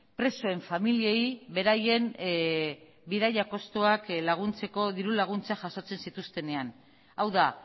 presoen familiei beraien bidaia kostuak laguntzeko diru laguntza jasotzen zituztenean hau da